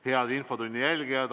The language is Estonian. Head infotunni jälgijad!